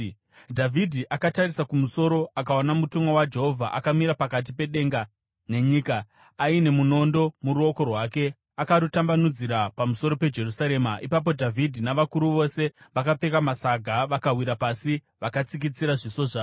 Dhavhidhi akatarisa kumusoro akaona mutumwa waJehovha akamira pakati pedenga nenyika, aine munondo muruoko rwake akarutambanudzira pamusoro peJerusarema. Ipapo Dhavhidhi navakuru vose vakapfeka masaga, vakawira pasi vakatsikitsira zviso zvavo.